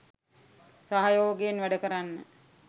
සහයෝගයෙන් වැඩකරන්න.